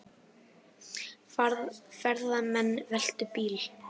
Ferðamenn veltu bíl